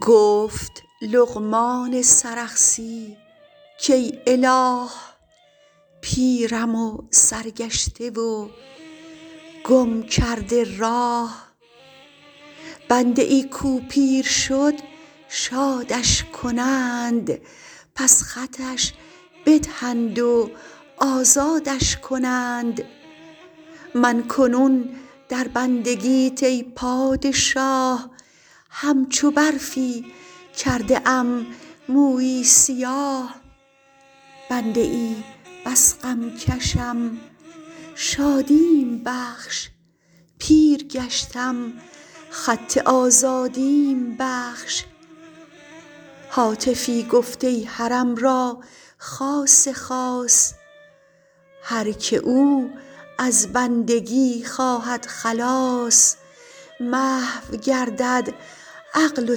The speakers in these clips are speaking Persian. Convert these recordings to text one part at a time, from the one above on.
گفت لقمان سرخسی کای اله پیرم و سرگشته و گم کرده راه بنده ای کو پیر شد شادش کنند پس خطش بدهند و آزادش کنند من کنون در بندگیت ای پادشاه همچو برفی کرده ام موی سیاه بنده بس غم کشم شادیم بخش پیرگشتم خط آزادیم بخش هاتفی گفت ای حرم را خاص خاص هر که او از بندگی خواهد خلاص محو گردد عقل و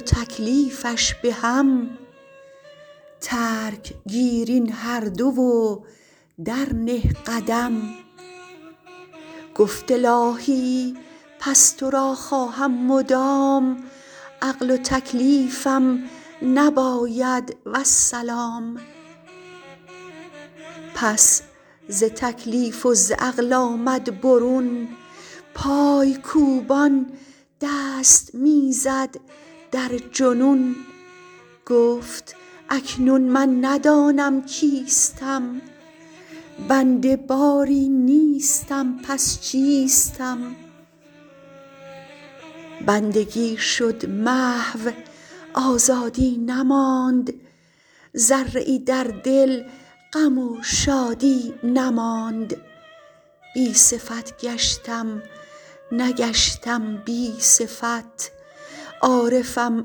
تکلیفش به هم ترک گیر این هر دو و درنه قدم گفت الاهی پس ترا خواهم مدام عقل و تکلیفم نباید والسلام پس ز تکلیف وز عقل آمد برون پای کوبان دست می زد در جنون گفت اکنون من ندانم کیستم بنده باری نیستم پس چیستم بندگی شد محو آزادی نماند ذره ای در دل غم و شادی نماند بی صفت گشتم نگشتم بی صفت عارفم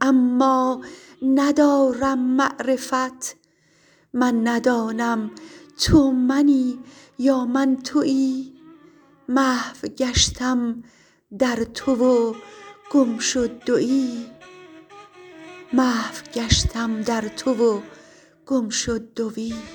اما ندارم معرفت من ندانم تو منی یا من توی محو گشتم در تو و گم شد دوی